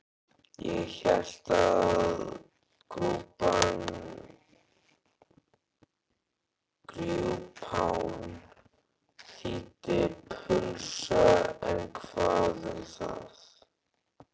Ég hélt að grjúpán þýddi pulsa en hvað um það?